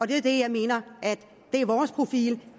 det er det jeg mener er vores profil